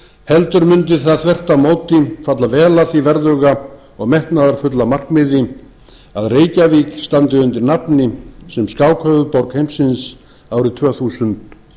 heldur mundi það þvert á móti falla vel að því verðuga og metnaðarfulla markmiði að reykjavík standi undir nafni sem skákhöfuðborg heimsins árið tvö þúsund